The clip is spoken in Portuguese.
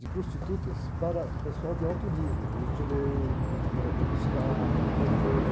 de prostitutas para pessoal de alto nível, juiz de direito, governador do estado, prefeito.